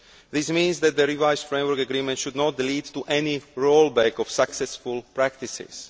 This means that the revised framework agreement should not lead to any rollback of successful practices.